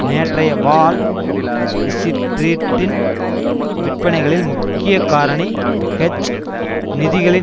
நேற்றைய வால் ஸ்ட்ரீட்டின் விற்பனைகளில் முக்கியகாரணி ஹெட்ஜ் நிதிகளின்